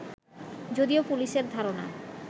যদিও পুলিশের ধারণা